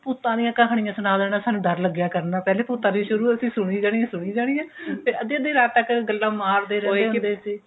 ਭੂਤਾ ਆਲਿਆ ਕਹਾਣੀਆ ਸੁਣਾ ਦੇਣਾ ਸਾਨੂੰ ਡਰ ਲੱਗਿਆ ਕਰਨਾ ਪਹਿਲਾ ਭੂਤਾਂ ਦੀ ਸ਼ੁਰੂ ਅਸੀਂ ਸੁਣੀ ਜਾਣੀ ਸੁਣੀ ਜਾਣੀ ਫੇਰ ਅੱਧੀ ਅੱਧੀ ਰਾਤ ਤੱਕ ਗੱਲਾ ਮਾਰਦੇ ਹੁੰਦੇ ਸੀ